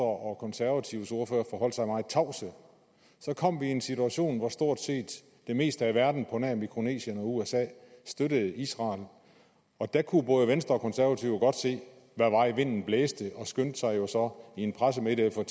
og konservatives ordførere forholdt sig meget tavse så kom vi i en situation hvor stort set det meste af verden på nær mikronesien og usa støttede israel og da kunne både venstre og konservative godt se hvad vej vinden blæste og de skyndte sig jo så i en pressemeddelelse at